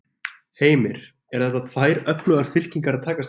Heimir: Eru þetta tvær öflugar fylkingar að takast á?